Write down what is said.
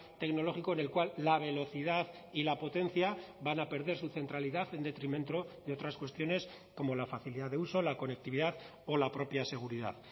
tecnológico en el cual la velocidad y la potencia van a perder su centralidad en detrimento de otras cuestiones como la facilidad de uso la conectividad o la propia seguridad